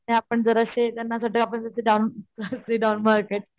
आपण जराशे त्यांनाफ्रीडम मार्केट